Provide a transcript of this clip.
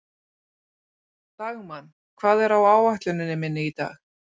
Dagmann, hvað er á áætluninni minni í dag?